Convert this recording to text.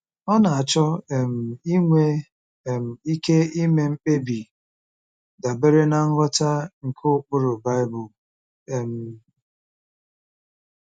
Ọ na-achọ um inwe um ike ime mkpebi dabere ná nghọta nke ụkpụrụ Bible um.